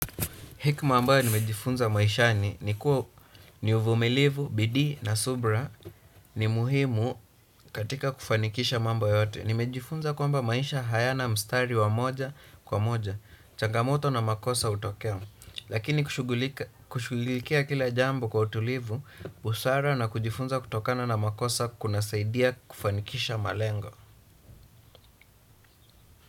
Hekima ambayo nimejifunza maishani ni kuwa ni uvumilivu, bidii na subira ni muhimu katika kufanikisha mambo yote. Nimejifunza kwamba maisha hayana mstari wa moja kwa moja changamoto na makosa hutokea lakini kushughulikia kila jambo kwa utulivu busara na kujifunza kutokana na makosa kunasaidia kufanikisha malengo.